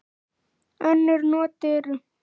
Önnur not eru